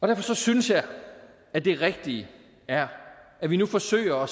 derfor synes jeg at det rigtige er at vi nu forsøger